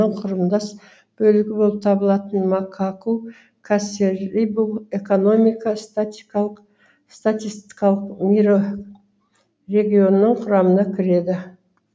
құрамдас бөлігі болып табылатын макаку касерибу экономика статистикалық мирорегионының құрамына кіреді